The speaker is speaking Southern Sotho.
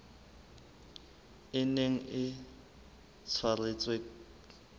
e neng e tshwaretswe the